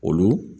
Olu